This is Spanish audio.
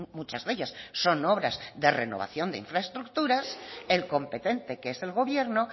muchas de ellas son obras de renovación de infraestructuras el competente que es el gobierno